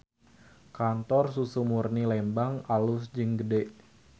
Kantor Susu Murni Lembang alus jeung gede